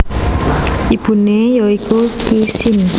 Ibune ya iku Qi Xin